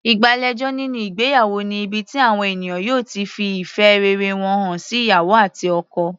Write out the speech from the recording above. Ìgbàlejò nínú ìgbéyàwó ni ibi tí àwọn ènìyàn yóò ti fi ìfẹ́ rere wọn hàn sí ìyàwó àti ọkọ.